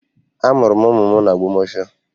Amụrụ m ụmụ m n'Ogbomosho